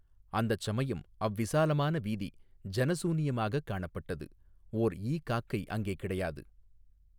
அந்தச் சமயம் அவ்விசாலமான வீதி ஜன சூனியமாகக் காணப்பட்டது ஓர் ஈ காக்கை அங்கே கிடையாது.